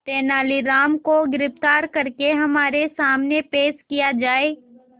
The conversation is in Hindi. तेनालीराम को गिरफ्तार करके हमारे सामने पेश किया जाए